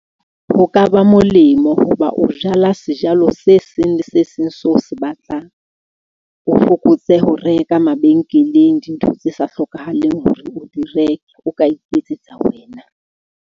Ho ka ba molemo hoba o jala sejalo se seng le se seng seo o se batlang. O fokotse ho reka mabenkeleng, dintho tse sa hlokahaleng hore o di reke o ka iketsetsa wena.